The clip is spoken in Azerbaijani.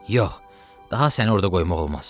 Yox, daha səni orda qoymaq olmaz.